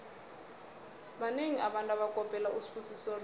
banengi abantu abakopela usibusiso dlomo